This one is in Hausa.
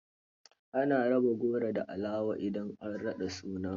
Ana raba goro da alawa idan an raɗa suna.